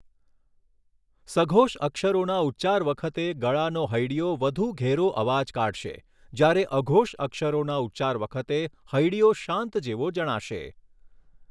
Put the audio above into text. સઘોષ અક્ષરોના ઉચ્ચાર વખતે ગળાનો હૈડીયો વધુ ઘેરો અવાજ કાઢશે જ્યારે અઘોષ અક્ષરોના ઉચ્ચાર વખતે હૈડીયો શાંત જેવો જણાશે!